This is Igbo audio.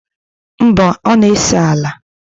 mba, ọ na-ese ala ala